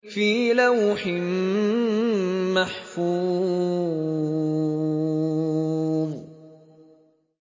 فِي لَوْحٍ مَّحْفُوظٍ